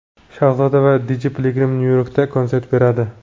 Shahzoda va Dj Piligrim Nyu-Yorkda konsert beradi.